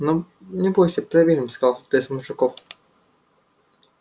но не бойся проверим сказал кто-то из мужиков